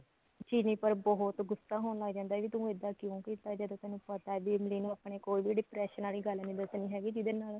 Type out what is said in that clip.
ਚਿਰੀ ਪਰ ਬਹੁਤ ਗੁੱਸਾ ਹੋਣ ਲੱਗ ਜਾਂਦਾ ਵੀ ਤੂੰ ਇੱਦਾਂ ਕਿਉਂ ਕੀਤਾ ਜਦੋਂ ਤੇਨੂੰ ਪਤਾ ਵੀ ਇਮਲੀ ਨੂੰ ਆਪਾਂ ਨੇ ਕੋਈ ਵੀ depression ਵਾਲੀ ਗੱਲ ਨੀ ਦਸਣੀ ਹੈਗੀ ਜਿਹਦੇ ਨਾਲ